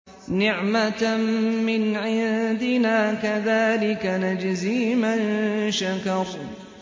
نِّعْمَةً مِّنْ عِندِنَا ۚ كَذَٰلِكَ نَجْزِي مَن شَكَرَ